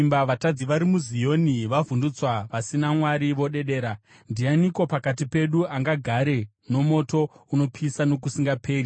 Vatadzi vari muZioni vavhundutswa; vasina Mwari vodedera: “Ndianiko pakati pedu angagare nomoto unopisa nokusingaperi?”